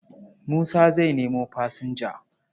Musa zai nemo fasinja.